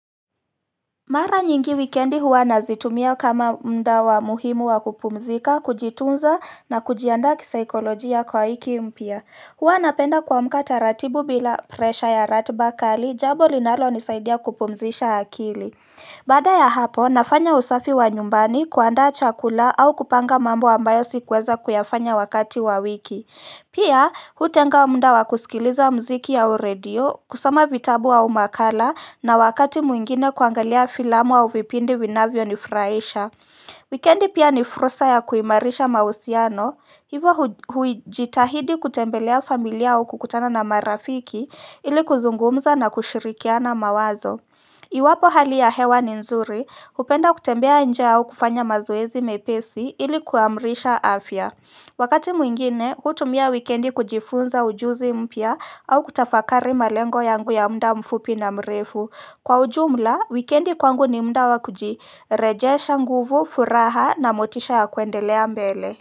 Mara nyingi wikendi huwa nazitumia kama muda wa muhimu wa kupumzika, kujitunza na kujiandaa kisikolojia kwa wiki mpya Huwa napenda kuamka taratibu bila presha ya ratuba kali, jambo linalo nisaidia kupumzisha akili Baada ya hapo nafanya usafi wa nyumbani, kuandaa chakula, au kupanga mambo ambayo sikuweza kuyafanya wakati wa wiki Pia, hutenga mda wa kusikiliza mziki au redio, kusoma vitabu au nakala na wakati mwingine kuangalia filamu au vipindi vinavyo nifurahisha. Wekendi pia ni fulsa ya kuimarisha mahusiano, hivyo mimi huijitahidi kutembelea familia au kukutana na marafiki ili kuzungumza na kushirikia mawazo Iwapo hali ya hewa ni nzuri, napenda kutembea nje au kufanya mazoezi mepesi ili kuimarisha afya Wakati mwingine mimi hutumia wikendi kujifunza ujuzi mpya, au kutafakari malengo yangu ya muda mfupi na mrefu. Kwa ujumla wikendi kwangu ni muda wakujirejesha nguvu furaha, na motisha ya kuendelea mbele.